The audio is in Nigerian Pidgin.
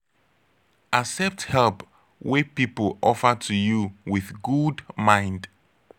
accept help wey pipo offer to you with good mind